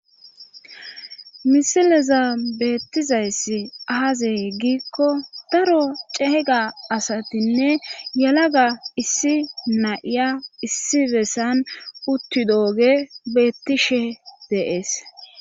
misileza beettizayssi aazey gikko daro cehega asatinne yalaga issi nayiya issi bessan uttidooge beettishe deees